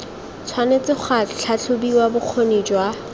tshwanetse ga tlhatlhobiwa bokgoni jwa